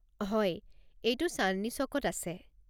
হয়, এইটো চান্দনী চ'কত আছে।